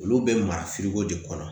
Olu bɛ mara de kɔnɔ